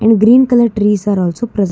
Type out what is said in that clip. green colour trees are also prese--